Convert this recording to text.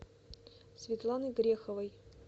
светланой греховой